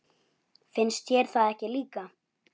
Finnst þér það ekki líka?